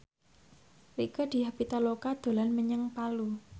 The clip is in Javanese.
Rieke Diah Pitaloka dolan menyang Palu